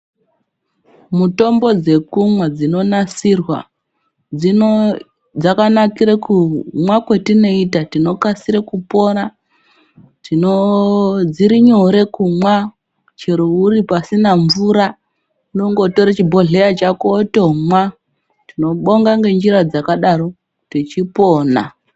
Mutombo dzekumwa dzinonasirwa dzakanakire kumwa kwetinoita tinokasire kupora tinooo dzirinyore kumwa chero uri pasina mvura unongotore chibhodhlera chako wondomwa tinobonga ngenjira dzakadaro techipina.